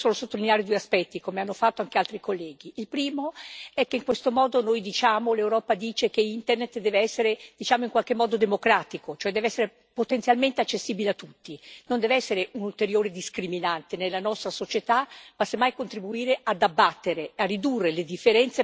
Il primo è che in questo modo l'Europa afferma che Internet deve essere in qualche modo democratico, cioè deve essere potenzialmente accessibile a tutti non deve essere un ulteriore discriminante nella nostra società ma, semmai, contribuire ad abbattere, a ridurre le differenze tra le opportunità che può offrire a chi da solo non ci arriva.